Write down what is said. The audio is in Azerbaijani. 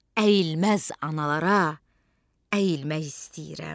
Əyilməz analara əyilmək istəyirəm.